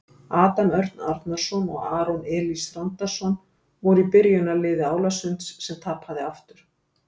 Adam Örn Arnarson og Aron Elís Þrándarson voru í byrjunarliði Álasunds sem tapaði aftur.